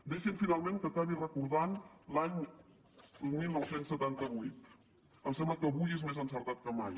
deixi’m finalment que acabi recordant l’any dinou setanta vuit em sembla que avui és més encertat que mai